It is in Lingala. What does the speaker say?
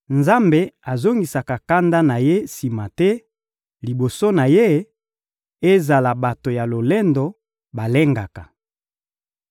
Nzambe azongisaka kanda na Ye sima te; liboso na Ye, ezala bato ya lolendo balengaka.